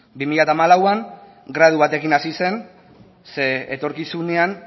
bi mila hamalauan gradu batekin hasi zen zeren etorkizunean